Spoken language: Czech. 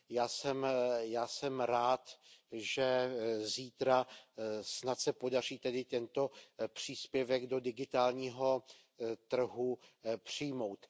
Já jsem rád, že zítra snad se podaří tedy tento příspěvek do digitálního trhu přijmout.